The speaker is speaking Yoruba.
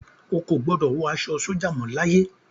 Ó kò gbọ́dọ̀ wọ aṣọ sójà mọ láyé.